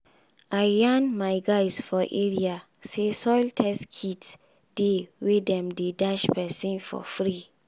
i yan my guys for area say soil test kit dey wey dem dey dash person for free.